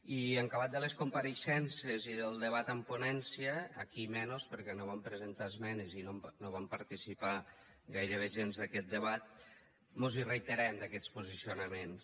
i en acabat de les compareixences i del debat en ponència aquí menys perquè no vam presentar esmenes i no vam participar gairebé gens d’aquest debat mos hi reiterem d’aquests posicionaments